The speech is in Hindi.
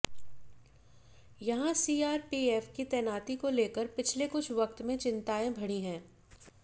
यहां सीआरपीएफ की तैनाती को लेकर पिछले कुछ वक्त में चिंताएं बढ़ी हैं